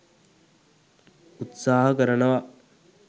උත්සාහ කරනව.